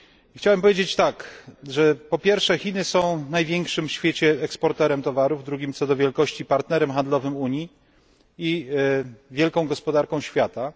Chciałbym powiedzieć, że po pierwsze, Chiny są największym w świecie eksporterem towarów, drugim co do wielkości partnerem handlowym Unii i wielką gospodarką światową.